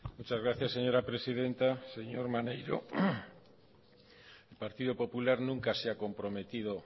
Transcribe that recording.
muchas gracias señora presidenta señor maneiro el partido popular nunca se ha comprometido